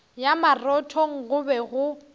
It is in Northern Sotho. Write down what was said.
ya marothong go be go